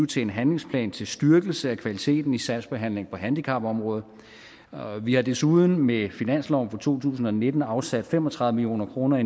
til en handlingsplan til styrkelse af kvaliteten i sagsbehandlingen på handicapområdet og vi har desuden med finansloven for to tusind og nitten afsat fem og tredive million kroner i